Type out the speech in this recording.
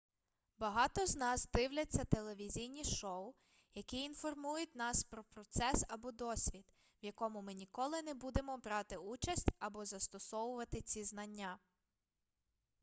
багато з нас дивляться телевізійні шоу які інформують нас про процес або досвід в якому ми ніколи не будемо брати участь або застосовувати ці знання